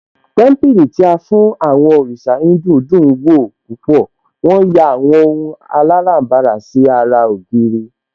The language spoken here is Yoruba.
Témípìlì tí a fún àwọn òrìṣà Híńdù dùn ún wò púpọ̀, wón yà àwọn ohun aláràbarà sí ara ògiri